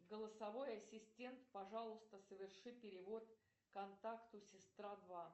голосовой ассистент пожалуйста соверши перевод контакту сестра два